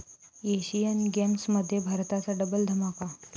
Asian गेम्समध्ये भारताचा double धमाका